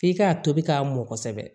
F'i k'a tobi k'a mɔ kosɛbɛ